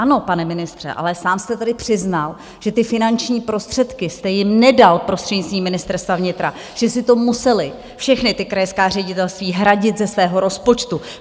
Ano, pane ministře, ale sám jste tady přiznal, že ty finanční prostředky jste jim nedal prostřednictvím Ministerstva vnitra, že si to musela všechna ta krajská ředitelství hradit ze svého rozpočtu.